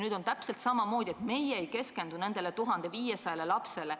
Nüüd on täpselt samamoodi: me ei keskendu nende 1500 lapse huvidele.